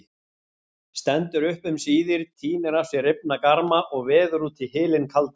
Stendur upp um síðir, tínir af sér rifna garma og veður út í hylinn kaldan.